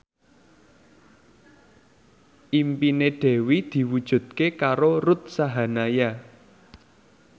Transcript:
impine Dewi diwujudke karo Ruth Sahanaya